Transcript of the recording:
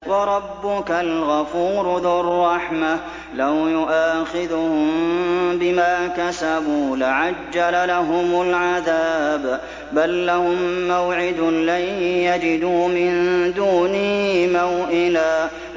وَرَبُّكَ الْغَفُورُ ذُو الرَّحْمَةِ ۖ لَوْ يُؤَاخِذُهُم بِمَا كَسَبُوا لَعَجَّلَ لَهُمُ الْعَذَابَ ۚ بَل لَّهُم مَّوْعِدٌ لَّن يَجِدُوا مِن دُونِهِ مَوْئِلًا